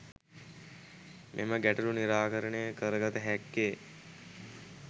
මෙම ගැටලු නිරාකරණය කරගත හැක්කේ